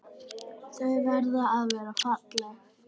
Þau verða að vera falleg.